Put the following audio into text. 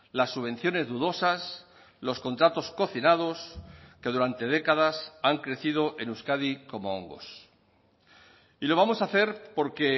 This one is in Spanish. las subvenciones dudosas los contratos cocinados que durante décadas han crecido en euskadi como hongos y lo vamos a hacer porque